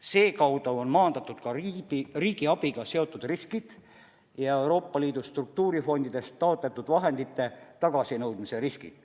Selle kaudu on maandatud ka riigiabiga seotud riskid ja Euroopa Liidu struktuurifondidest taotletud vahendite tagasinõudmise riskid.